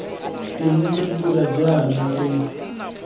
teng re dira jaana re